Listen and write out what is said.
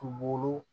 Kungolo